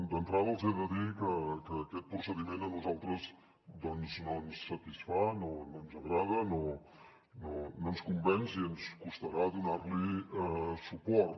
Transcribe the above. d’entrada els he de dir que aquest procediment a nosaltres doncs no ens satisfà no ens agrada no ens convenç i ens costarà donar li suport